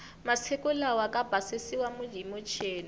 masiku lawa ka basisiwa hi michini